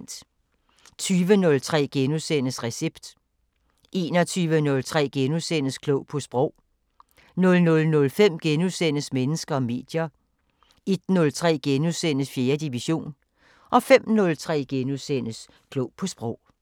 20:03: Recept * 21:03: Klog på Sprog * 00:05: Mennesker og medier * 01:03: 4. division * 05:03: Klog på Sprog *